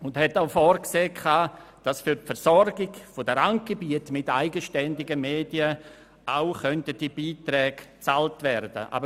Die Vorschläge sahen zudem vor, dass für die Versorgung der Randgebiete mit eigenständigen Medien auch Beiträge bezahlt werden könnten.